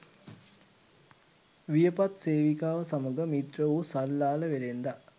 වියපත් සේවිකාව සමඟ මිත්‍ර වූ සල්ලාල වෙළෙන්දා